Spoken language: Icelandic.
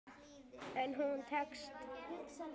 En hún tekst.